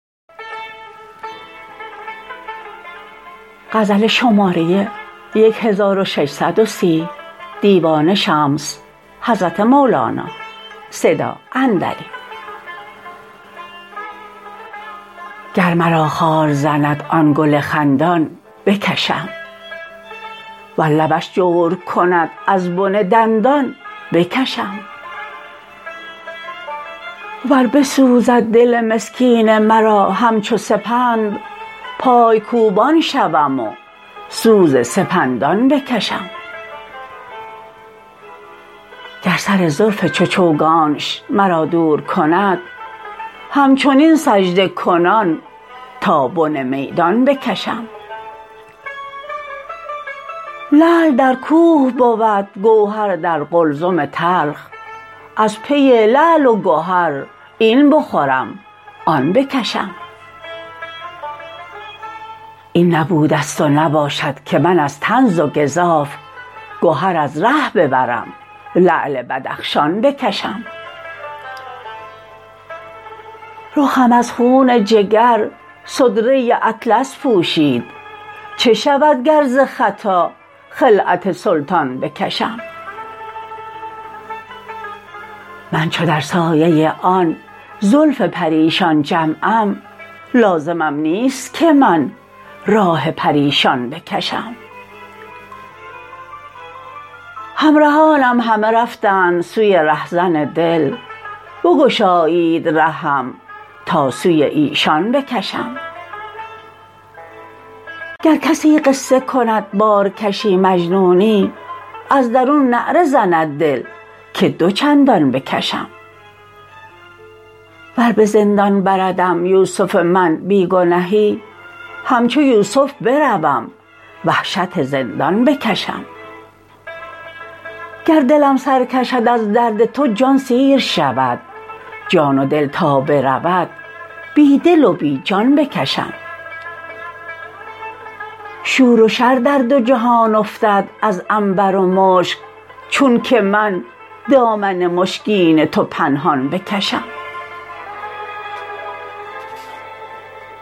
گر مرا خار زند آن گل خندان بکشم ور لبش جور کند از بن دندان بکشم ور بسوزد دل مسکین مرا همچو سپند پای کوبان شوم و سوز سپندان بکشم گر سر زلف چو چوگانش مرا دور کند همچنین سجده کنان تا بن میدان بکشم لعل در کوه بود گوهر در قلزم تلخ از پی لعل و گهر این بخورم آن بکشم این نبوده ست و نباشد که من از طنز و گزاف گهر از ره ببرم لعل بدخشان بکشم رخم از خون جگر صدره اطلس پوشید چه شود گر ز خطا خلعت سلطان بکشم من چو در سایه آن زلف پریشان جمعم لازمم نیست که من راه پریشان بکشم همرهانم همه رفتند سوی رهزن دل بگشایید رهم تا سوی ایشان بکشم گر کسی قصه کند بارکشی مجنونی از درون نعره زند دل که دو چندان بکشم ور به زندان بردم یوسف من بی گنهی همچو یوسف بروم وحشت زندان بکشم گر دلم سر کشد از درد تو جان سیر شود جان و دل تا برود بی دل و بی جان بکشم شور و شر در دو جهان افتد از عنبر و مشک چونک من دامن مشکین تو پنهان بکشم